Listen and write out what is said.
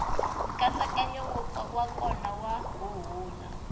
nkatsakanyo wa kona wa huhula